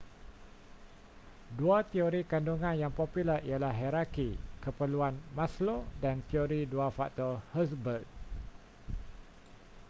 dua teori kandungan yang popular ialah hierarki keperluan maslow dan teori dua faktor hertzberg